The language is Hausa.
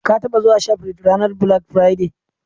Ka taɓa zuwa shafrit ranar "bilak firade"?